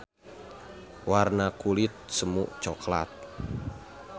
Warna kulit semu coklat.